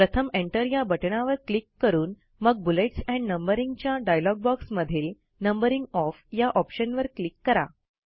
प्रथम एंटर या बटणावर क्लिक करून मग बुलेट्स एंड नंबरिंग च्या डायलॉग बॉक्समधील नंबरिंग ऑफ या ऑप्शनवर क्लिक करा